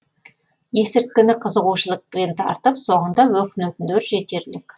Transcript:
есірткіні қызығушылықпен тартып соңында өкінетіндер жетерлік